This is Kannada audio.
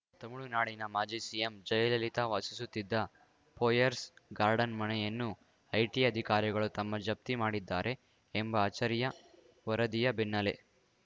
ತಮಿಳುನಾಡಿನ ಮಾಜಿ ಸಿಎಂ ಜಯಲಲಿತಾ ವಾಸಿಸುತ್ತಿದ್ದ ಪೋಯೆರ್ಸ್‌ ಗಾರ್ಡನ್‌ ಮನೆಯನ್ನು ಐಟಿ ಅಧಿಕಾರಿಗಳು ತಮ್ಮ ಜಪ್ತಿ ಮಾಡಿದ್ದಾರೆ ಎಂಬ ಅಚ್ಚರಿಯ ವರದಿಯ ಬೆನ್ನಲ್ಲೇ